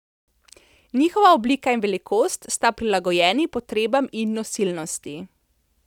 Njihova oblika in velikost sta prilagojeni potrebam in nosilnosti.